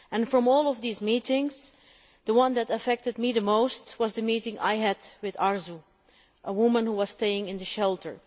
Of all these meetings, the one that affected me the most was the meeting I had with Arzu, a woman who was staying in the shelter.